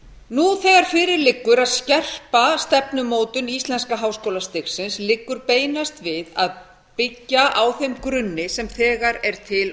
nú þegar fyrir liggur að skerpa stefnumótun íslenska háskólastigsins liggur beinast við að byggja á þeim grunni sem þegar er til